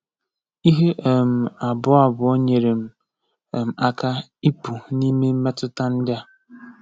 Ihe um abụọ abụọ nyere m um aka ịpụ n’ime mmetụta ndị a.